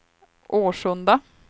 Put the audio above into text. Årsunda